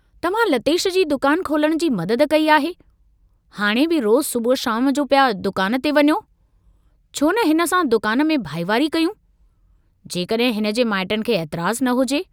तव्हां लतेश जी दुकान खोलण जी मदद कई आहे, हाणे बि रोज़ु सुबुह शाम जो पिया दुकान ते वञो, छोन हिन सां दुकान में भाईवारी कयूं, जेकडुहिं हिनजे माइटनि खे एतराज़ न हुजे।